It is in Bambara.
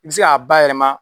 I bɛ se k'a bayɛlɛma